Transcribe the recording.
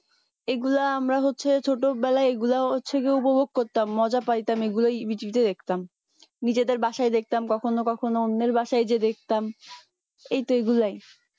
এ গুলা আমরা হচ্ছে ছোট বেলাই এগুলা হচ্ছে কি উপভোগ করতাম মজা পাইতাম এগুলোয় জি টিভি তে দেখতাম নিজেদের বাসাই দেখতাম কখনো কখনো অন্যের বাসাই গিয়ে দেখতাম এই তো এগুলোয়